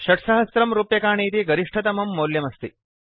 6000 रूप्यकाणि इति गरिष्ठतमं मौल्यमस्ति